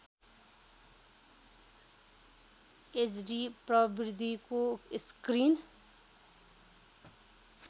HD प्रविधिको screen